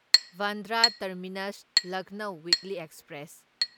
Bandra terminus Lucknow weekly express